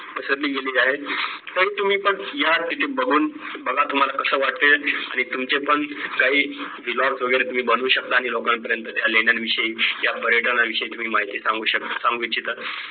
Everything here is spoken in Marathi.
पसरली गेली आहे पण तुम्ही पण या तिथे बघून बघा तुम्हाला कसे वाटेल आणि तुमचे पण काही vlogs वगैरे तुम्ही बनवू शकता आणि लोकपर्यंत त्या लेण्याविषयी त्या पर्यटना विषयी माहिती सांगू शक सांगू इच्छिता